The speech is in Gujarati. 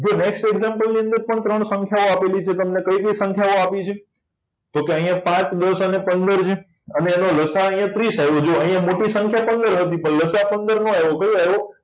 જો next example ની અંદર પણ ત્રણ સંખ્યાઓ આપી છે કઈ કઈ સંખ્યાઓ આપી છે તો અહીંયા પાંચ દસ અને પંદર છે અને એનો લ. સા. અહીંયા ત્રીસ આવ્યો જુવો અહિયાં મોટી સંખ્યા પંદર હતી પણ લસાઅ પંદર ન આવિયો કયો આયો